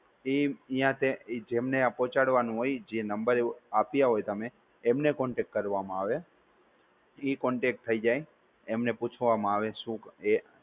ઇ જેમને આ પોહચાડવાનું હોય, જે number આપ્યા હોય તમે એમને contact કરવામાં આવે, ઈ contact થઇ જાય, એમને પૂછવામાં આવે શું